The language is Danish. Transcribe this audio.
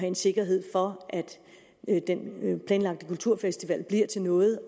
en sikkerhed for at den planlagte kulturfestival bliver til noget